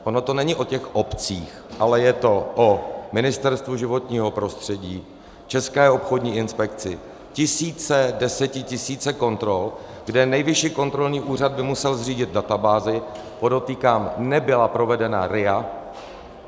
Ono to není o těch obcích, ale je to o Ministerstvu životního prostředí, České obchodní inspekci, tisíce, desetitisíce kontrol, kde Nejvyšší kontrolní úřad by musel zřídit databázi - podotýkám, nebyla provedena RIA.